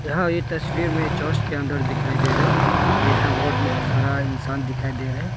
यह तस्वीर में चर्च के अंदर दिखाई दे रहे और यहां बहुत सारा इंसान दिखाई दे रहे--